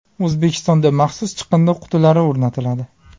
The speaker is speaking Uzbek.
O‘zbekistonda maxsus chiqindi qutilari o‘rnatiladi.